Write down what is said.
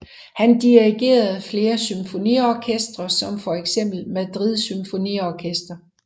Han dirigerede flere symfoniorkestre som feks Madrid Symfoniorkester